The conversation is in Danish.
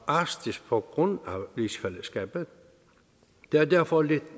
arktis på grund af rigsfællesskabet det er derfor lidt